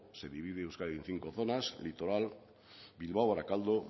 se divide euskadi en cinco zonas litoral bilbao barakaldo